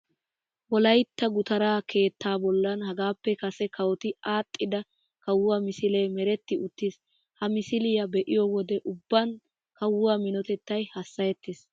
Wolaytta gutaraa keettaa bollan hagaappe kase kawoti aadhdhida kawuwa misilee meretti uttiis. Ha misiliya be'iyo wode ubban kawuwa minotettay hassayettees.